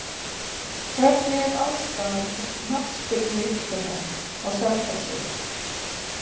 Hvernig er aðstaða til knattspyrnuiðkunar á Selfossi?